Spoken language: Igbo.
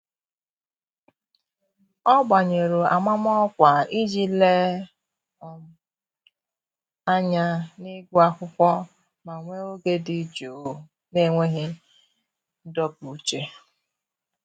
ọ́ gbànyụ̀rụ̀ amamọkwa iji léé ányá n’ị́gụ́ ákwụ́kwọ́ ma nwee oge dị jụụ n’enweghị ndọpụ uche.